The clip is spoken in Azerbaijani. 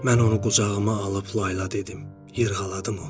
Mən onu qucağıma alıb layla dedim, yırğaladım onu.